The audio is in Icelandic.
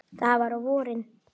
Það var á vorin.